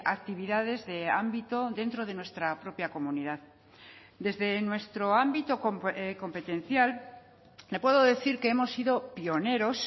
actividades de ámbito dentro de nuestra propia comunidad desde nuestro ámbito competencial le puedo decir que hemos sido pioneros